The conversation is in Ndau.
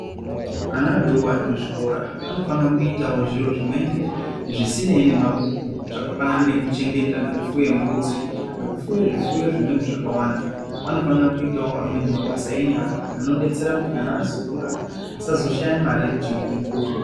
Ana adoko arikuzvikora anofanira kuitawo zviro zvimweni zvisinei nemabhuku zvakafanana nekufuye nekuchengeta mbudzi, nekufuye zvimweni zvifuyo zvakawanda anofanira kuita wo amweni mabasa enyara anodetsera kuti kana azokura asazoshaye mare yekuchengeta mhuri.